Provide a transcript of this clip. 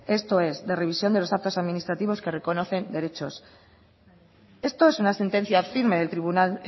esto es de revisión de los actos administrativos que reconocen derechos esto es una sentencia firme del tribunal